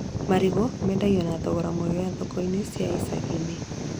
Marigũ mendagio na thogora mwega thoko-inĩ cia icagi-inĩ